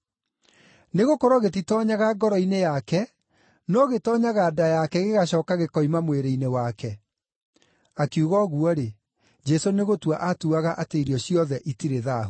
Nĩgũkorwo gĩtitoonyaga ngoro-inĩ yake, no gĩtoonyaga nda yake gĩgacooka gĩkoima mwĩrĩ-inĩ wake.” (Akiuga ũguo-rĩ, Jesũ nĩgũtua aatuaga atĩ irio ciothe itirĩ thaahu).